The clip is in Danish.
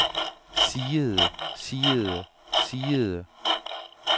siede siede siede